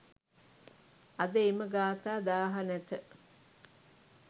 අද එම ගාථා 1000 නැත.